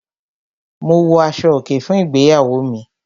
Mo wọ aṣọ-òkè fún ìgbéyàwó mi.